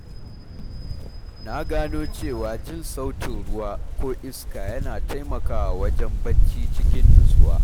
Na gano cewa jin sautin ruwa ko iska yana taimakawa wajen barci cikin nutsuwa.